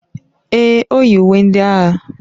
Èè, o yi uwe ndị agha.